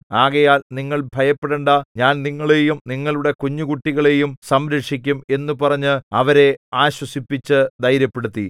ആകയാൽ നിങ്ങൾ ഭയപ്പെടേണ്ടാ ഞാൻ നിങ്ങളെയും നിങ്ങളുടെ കുഞ്ഞുകുട്ടികളെയും സംരക്ഷിക്കും എന്നു പറഞ്ഞ് അവരെ ആശ്വസിപ്പിച്ചു ധൈര്യപ്പെടുത്തി